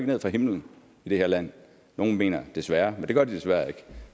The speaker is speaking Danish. ned fra himlen i det her land nogle mener desværre men det gør de desværre ikke